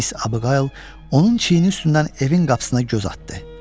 Miss Abiqayıl onun çiyini üstündən evin qapısına göz atdı.